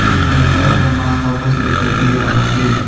एक लड़का का माथा बस दिखाई दे रहा है।